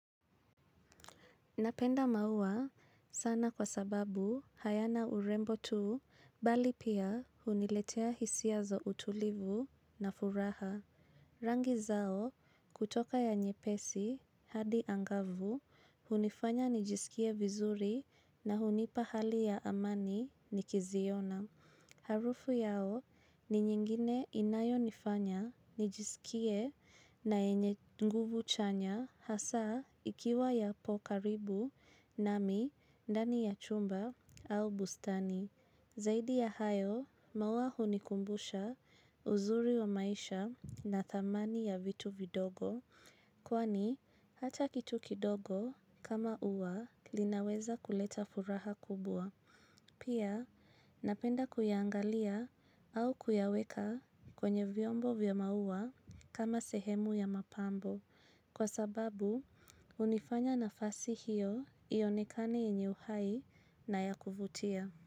Napenda maua sana kwa sababu hayana urembo tuu bali pia huniletea hisia za utulivu na furaha. Rangi zao kutoka ya nyepesi hadi angavu hunifanya nijiskie vizuri na hunipa hali ya amani nikiziona. Harufu yao ni nyingine inayo nifanya, nijisikie na enye nguvu chanya hasa ikiwa ya pokaribu, nami, ndani ya chumba au bustani. Zaidi ya hayo, mawua hunikumbusha uzuri wa maisha na thamani ya vitu vidogo, kwani hata kitu kidogo kama uwa linaweza kuleta furaha kubua. Pia, napenda kuyangalia au kuyaweka kwenye vyombo vyomaua kama sehemu ya mapambo. Kwa sababu, unifanya nafasi hiyo iyonekane yenye uhai na ya kufutia.